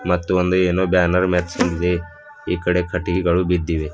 ಮತ್ತು ಒಂದು ಏನೋ ಬ್ಯಾನರ್ ಮೇತ್ಸಿನ್ದಿದೆ ಈ ಕಡೆ ಕಟ್ಟಿಗೆಗಳು ಬಿದ್ದಿವೆ.